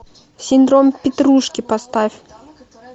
синдром петрушки поставь